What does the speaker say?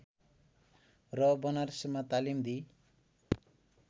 र बनारसमा तालिम दिई